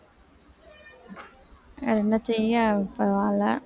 வேற என்ன செய்ய பரவாயில்லை